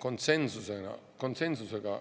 konsensusega – konsensusega!